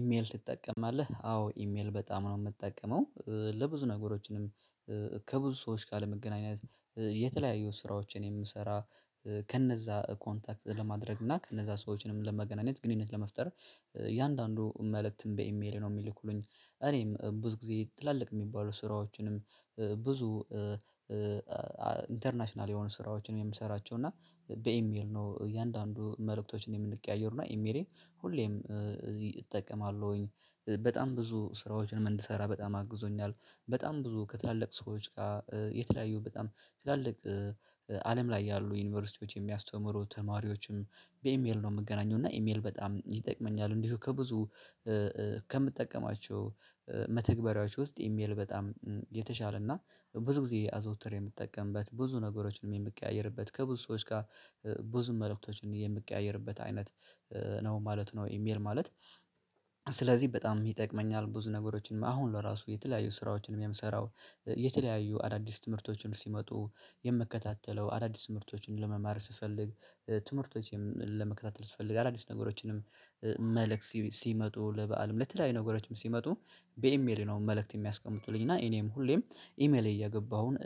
ኢሜል ትጠቀማለህ አዎ ኢሜል በጣም ነው የምጠቀመው ለብዙ ነገሮችንም ከብዙ ሰዎች ካለመገናኘት የተለያየ ስራዎችን የምሰራ ከነዛ ኮንታክት ለማድረግ እና ከነዛ ሰዎችንም ለመገናኘት ግንኙነት ለመፍጠር እያንዳንዱ መልእክትም በኢሜል ነው የሚልኩልኝ። እኔም ብዙ ጊዜ ትላልቅ የሚባሉ ስራዎችንም ብዙ ኢንተርናሽናል የሆኑ ስራዎችንም የምሰራቸው። እና በኢሜል ነው እያንዳንዱ መልእክቶችን የምንቀያየሩ እና ኢሜሌን ሁሌም እጠቀማለሁኝ በጣም ብዙ ስራዎችን እንድሰራ በጣም አግዞኛል። በጣም ብዙ ከትላልቅ ሰዎች ጋር የተለያዩ በጣም ስላልቅ አለም ላይ ያሉ ዩኒቨርሲቲዎች የሚያስተምሩ ተማሪዎችም በኢሜል ነው የምገናኘው እና ኢሜል በጣም ይጠቅመኛል። እንዲሁ ከብዙ ከምጠቀማቸው መተግበሪያዎች ውስጥ ኢሜል በጣም የተሻለ እና ብዙ ጊዜ አዘውትሬ የምትጠቀምበት ብዙ ነገሮችንም የምቀያየርበት ከብዙ ሰዎች ጋር ብዙ መልእክቶችን የምቀያየርበት አይነት ነው ማለት ነው። ኢሜል ማለት ስለዚህ በጣም ይጠቅመኛል። ብዙ ነገሮችን አሁን ለራሱ የተለያዩ ስራዎችን የሚያምሰራው የተለያዩ አዳዲስ ትምህርቶችን ሲመጡ የምከታተለው አዳዲስ ትምህርቶችን ለመማር ስፈልግ ትምህርቶችን ለመከታተል ስፈልግ አዳዲስ ነገሮችንም። መልእክት ሲመጡ ለበአልም ለተለያዩ ነገሮችም ሲመጡ በኢሜኤ ነው መልእክት የሚያስቀምጡልኝ እና እኔም ሁሌም ኢሜሌ እየገባሁኝ